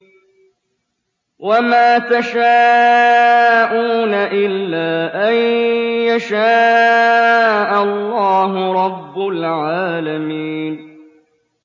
وَمَا تَشَاءُونَ إِلَّا أَن يَشَاءَ اللَّهُ رَبُّ الْعَالَمِينَ